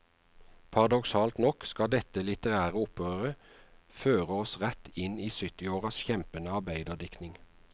Paradoksalt nok skal dette litterære opprøret føre oss rett inn i syttiåras kjempende arbeiderdiktning.